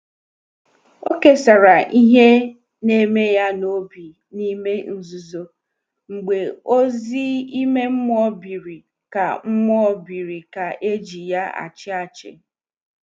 Ọ̀ kesàrà ihe na-eme ya n’obi n’ime nzuzo, mgbe ozi ime mmụọ biri ka mmụọ biri ka e ji ya achị achị.